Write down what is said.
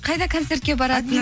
қайда концертке баратын